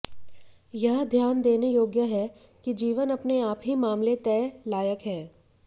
यह ध्यान देने योग्य है कि जीवन अपने आप ही मामले तय लायक है